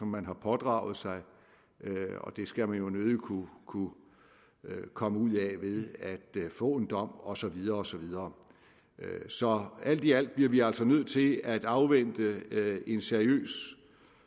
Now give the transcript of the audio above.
man har pådraget sig og det skal man jo nødig kunne kunne komme ud af ved at få en dom og så videre og så videre så alt i alt bliver vi altså nødt til at afvente et seriøst